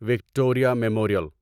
Victoria memorial